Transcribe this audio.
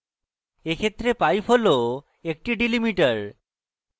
in ক্ষেত্রে pipe হল একটি delimiter